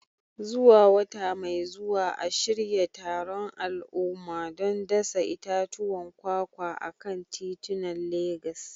Zuwa wata mai zuwa, a shirya taron al'umma don dasa itatuwan kwakwa a kan titunan Legas.